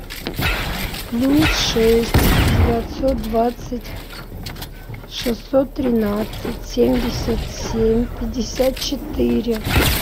плюс шесть девятьсот двадцать шестьсот тринадцать семьдесят семь пятьдесят четыре